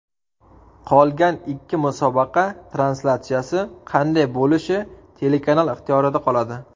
Qolgan ikki musobaqa translyatsiyasi qanday bo‘lishi telekanal ixtiyorida qoladi.